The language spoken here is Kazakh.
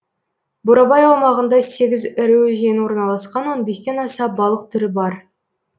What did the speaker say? бурабай аумағында сегіз ірі өзен орналасқан он бестен аса балық түрі бар